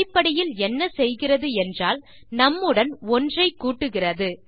அடிப்படையில் என்ன செய்கிறது என்றால் நும் உடன் 1 ஐ கூட்டுகிறது